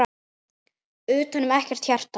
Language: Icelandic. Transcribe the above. Utanum ekkert hjarta.